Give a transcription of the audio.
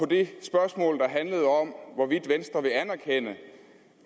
det spørgsmål der handlede om hvorvidt venstre vil anerkende